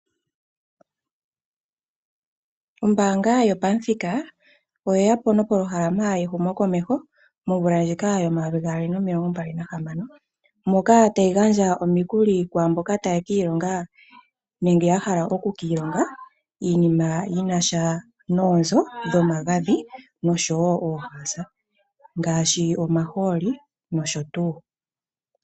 Ombanga yo pamuthika oyeya po no polohalama yehumo komeho momvula ndjika yo2026 moka tati gandja omikuli kwaamboka taye kiilongo nenge yahala okukilonga iinima yina sha noonzo dho magadhi noshowo uuhasa ngasshi omaholi noshotuu.